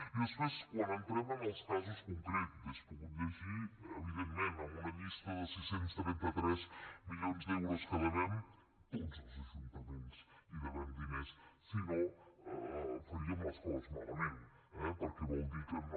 i després quan entrem en els casos concrets hauria pogut llegir evidentment amb una llista de sis cents i trenta tres milions d’euros que devem tots els ajuntaments hi devem diners si no faríem les coses malament eh perquè vol dir que no